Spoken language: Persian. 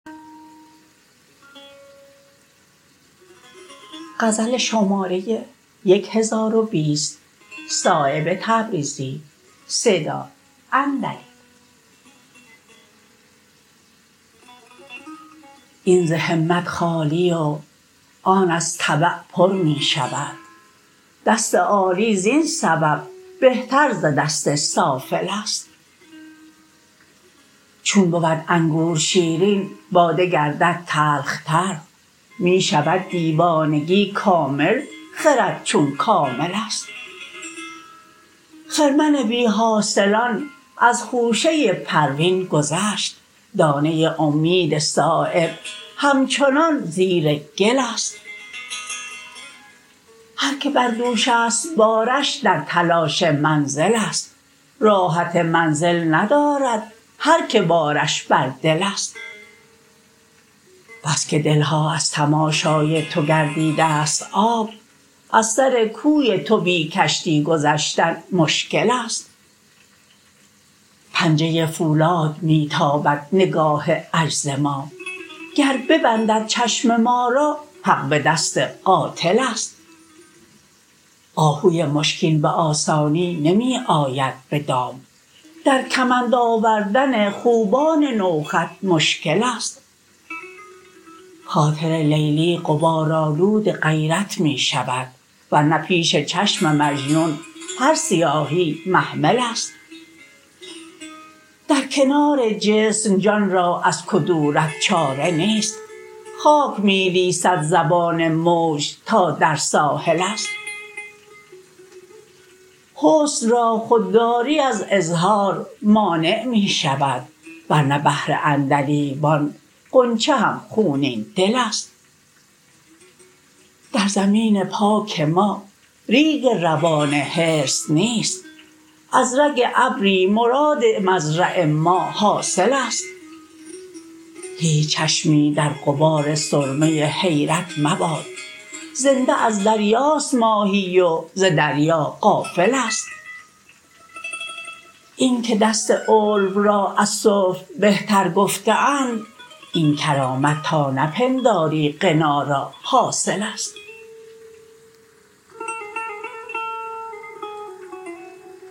این ز همت خالی و آن از طبع پر می شود دست عالی زین سبب بهتر ز دست سافل است چون بود انگور شیرین باده گردد تلخ تر می شود دیوانگی کامل خرد چون کامل است خرمن بی حاصلان از خوشه پروین گذشت دانه امید صایب همچنان زیر گل است هر که بر دوش است بارش در تلاش منزل است راحت منزل ندارد هر که بارش بر دل است بس که دلها از تماشای تو گردیده است آب از سر کوی تو بی کشتی گذشتن مشکل است پنجه فولاد می تابد نگاه عجز ما گر ببندد چشم ما را حق به دست قاتل است آهوی مشکین به آسانی نمی آید به دام در کمند آوردن خوبان نوخط مشکل است خاطر لیلی غبارآلود غیرت می شود ورنه پیش چشم مجنون هر سیاهی محمل است در کنار جسم جان را از کدورت چاره نیست خاک می لیسد زبان موج تا در ساحل است حسن را خودداری از اظهار مانع می شود ورنه بهر عندلیبان غنچه هم خونین دل است در زمین پاک ما ریگ روان حرص نیست از رگ ابری مراد مزرع ما حاصل است هیچ چشمی در غبار سرمه حیرت مباد زنده از دریاست ماهی و ز دریا غافل است این که دست علو را از سفل بهتر گفته اند این کرامت تا نپنداری غنا را حاصل است